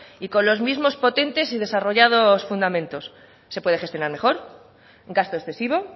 y con los mismos potentes y desarrollados fundamentos se puede gestionar mejor gasto excesivo